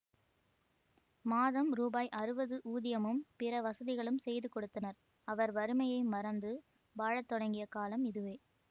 மாதம் ரூபாய் அறுவது ஊதியமும் பிற வசதிகளும் செய்து கொடுத்தனர் அவர் வறுமையை மறந்து வாழ தொடங்கிய காலம் இதுவே